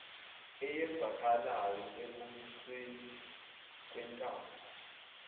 eyenzekalayo ekubuseni kwentando